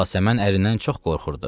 Yasəmən ərindən çox qorxurdu.